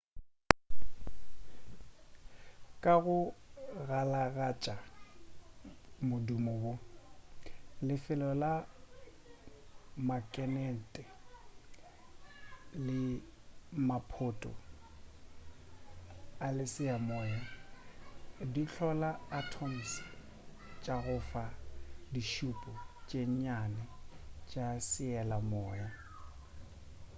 ka go galagatša modumo wo lefelo la makenete le maphoto a sealemoya di hlola di atoms tša go fa ditšhupo tše nnyane tša sealemoya